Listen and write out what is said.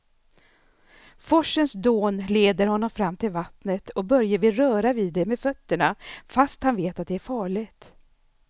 Forsens dån leder honom fram till vattnet och Börje vill röra vid det med fötterna, fast han vet att det är farligt.